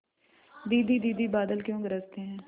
दीदी दीदी बादल क्यों गरजते हैं